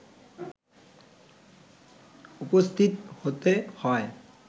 উপস্থিত হতে হয়